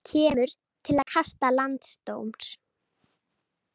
Kemur til kasta landsdóms